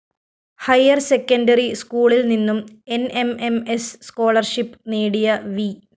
higher secondary സ്‌കൂളില്‍ നിന്നും N M M S scholarship നേടിയ വി